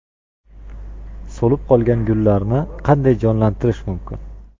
So‘lib qolgan gullarni qanday jonlantirish mumkin?.